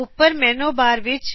ਉੱਪਰ menu bar ਵਿੱਚ